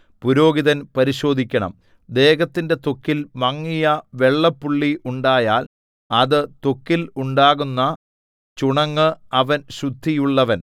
പുരോഹിതൻ പരിശോധിക്കണം ദേഹത്തിന്റെ ത്വക്കിൽ മങ്ങിയ വെള്ളപ്പുള്ളി ഉണ്ടായാൽ അത് ത്വക്കിൽ ഉണ്ടാകുന്ന ചുണങ്ങ് അവൻ ശുദ്ധിയുള്ളവൻ